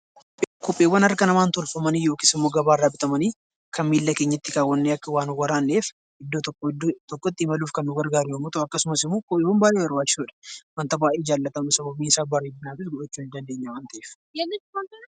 Kopheewwan harka namaan tolfamanii yookaasimmoo gabaarraa bitamanii kan miilla kee keenyatti kaawwannee akka waa nun waraanneef iddoo tokkoo iddoo rokkotti imaluuf kan nu gargaaru yoommuu ta'u akkasumasimmoo wanta baayyee barbaachisudha sababbiinsaa bareedinaafis godhachuu ni dandeenya waan ta'eef